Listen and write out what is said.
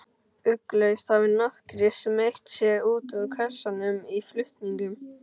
Ugglaust hafi nokkrir smeygt sér út úr kössunum í flutningunum.